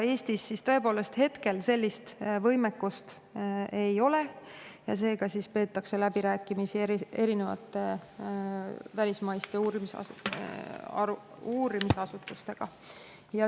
Eestis hetkel sellist võimekust tõepoolest ei ole ja seega peetakse läbirääkimisi erinevate välismaiste uurimisasutustega.